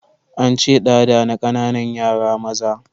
An ce, ɗada na ƙananan yara maza